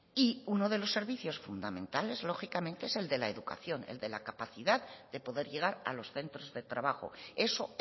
y uno de los servicios fundamentales lógicamente es el de la educación el de la capacidad de poder llegar a los centros de trabajo eso